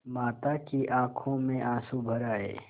माता की आँखों में आँसू भर आये